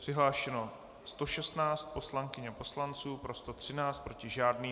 Přihlášeno 116 poslankyň a poslanců, pro 113, proti žádný.